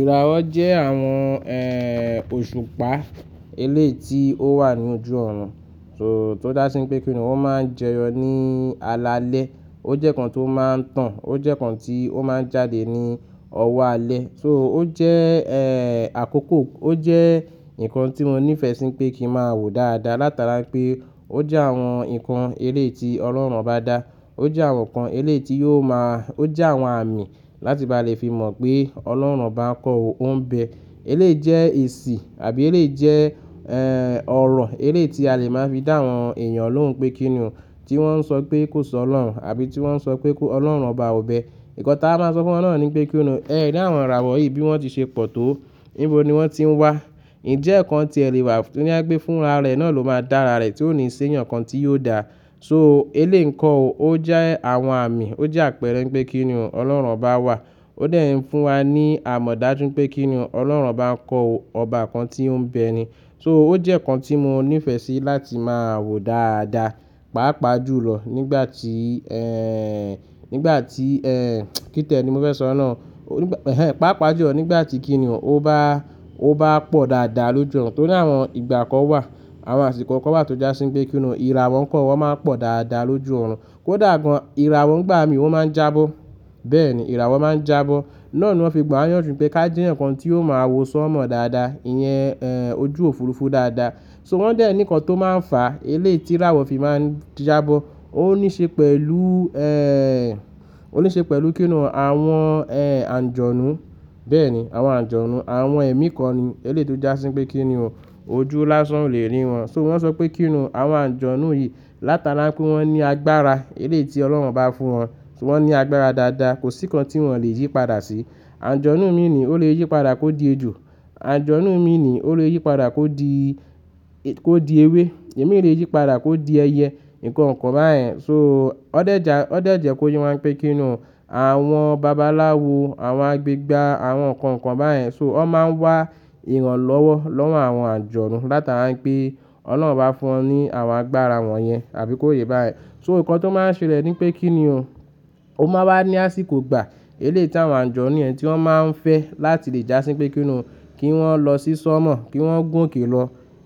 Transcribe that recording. Ìràwọ̀ jẹ àwọn òṣùpá eléyiti ó wà ní ojú ọ̀rùn, tò dá sí pé kíniún ó ma jẹyọ ní alalẹ. Ó jẹ́ kan tó ma n tan, ó jẹ́ kan tí ó ma jáde ní ọwọ́ alẹ́. So ó jẹ́ àkókò, ó jẹ́ ǹkan tí mo níìfẹ́ sí pé kí n máa wo dáadáa. Látara pé ó jẹ́ àwọn ǹkan eléeti Ọlọ́run bá dá, ó jẹ́ àwọn ǹkan eléeti yóò ma, ó jẹ́ àwọn àmì láti bá lè fi mọ̀ pé Ọlọ́run bá ń kọ ọ Ọ̀n bẹ. Eléè jẹ́ èṣì àbí eléè jẹ́ eh ọ̀rọ̀ eléè tí a lè máa fi dá àwọn èèyàn lóhùn pé kíniún tí wọ́n n sọ pé kò sọ́ Ọlọ́run àbí tí wọ́n n sọ pé Ọlọ́run ọba ò bẹ. Ìkọta a máa sọ fún wọn náà ni pé kíni ẹ rí àwọn ìràwọ̀ yìí bí wọ́n ti ṣe pọ̀ tó, níbo ni wọ́n ti ń wá. Ǹjẹ́ ẹ́ kan tí ẹ lè wà ní àpé fún ara rẹ náà ló máa dá ara rẹ tí ó ní í ṣe ǹkan tí yóò dà. So eléè ǹkan ò ó jẹ́ àwọn àmì, ó jẹ́ àpẹẹrẹ pé kínio Ọlọ́run ọba wà. Ó dẹ̀ ẹ́ ń fún wa ní àmọ̀dájú pé kínio Ọlọ́run bá ń kọ ọba kan tí ó ń bẹ ni. So ó jẹ́ kan tí mo níìfẹ́ sí láti máa wo dáadáa, pàápàá jù lọ nígbà tí nígbà tí kí tẹ́ẹ̀ ni mo fẹ́ sọ náà. Pàápàá jù lọ nígbà tí kíniún ó bá ó bá pọ̀ dáadáa lójú ọ̀rùn. Torí àwọn ìgbà kan wà, àwọn àsìkò kan wà tó jásí pé kíniún ìràwọ̀ ǹkan wọ́n máa ń pọ̀ dáadáa lójú ọ̀rùn. Kó dàgọ́n ìràwọ̀ ń gbá mi wọ́n máa ń jábọ́. Bẹ́ẹ̀ni ìràwọ̀ máa ń jábọ́. Náà ni wọ́n fi gbọ́yàn jù pé ká jí ǹkan tí yóò ma wò sọ́mọ dáadáa, ìyẹn ojú òfurufú dáadáa. So wọ́n dẹ̀ ẹ́ ní ǹkan tó máa ń fà eléè tí ìràwọ̀ fi máa ń jábọ́. Ó ní ṣe pẹ̀lú ó ní ṣe pẹ̀lú kíniún àwọn ànjọ̀nú. Bẹ́ẹ̀ni àwọn àjọ̀nú, àwọn ẹ̀mí kan ni eléè tó jásí pé kíniún ojú lásán ò lè rí wọn. So wọ́n sọ pé kíniún àwọn àjọ̀nú yìí látara pé wọ́n ní agbára eléi tí Ọlọ́run bá fún wọn. Wọ́n ní agbára dáadáa, kò sí ǹkan tí wọ́n lè yípadà sí. Àjọ̀nú mí ní ò lè yípadà kó di ejò, àjọ̀nú mí ní ò lè yípadà kó di kó di ewé, èmi lè yípadà kó di ẹyẹ, ǹkan kan báyẹn. So ó dẹ̀ ẹ́ já ó dẹ̀ ẹ́ jẹ́ kó yé wa pé kíniún àwọn babaláwo, àwọn agbẹ̀gba, àwọn ǹkan kan báyẹn. So wọ́n máa ń wá ìrànlọ́wọ́ lọ́wọ́ àwọn àjọ̀nú látara pé Ọlọ́run bá fún wọn ní àwọn agbára wọ̀nyẹn àbí kó yé bá yẹn. So ǹkan tó máa ń ṣe lẹ̀ ni pé kíniún ó máa wà ní àsìkò gbà, eléè tí àwọn àjọ̀nú yẹn tí wọ́n máa ń fẹ́ láti lè jásí pé kíniún kí wọ́n lọ sísọ́mọ̀, kí wọ́n gún òkè lọ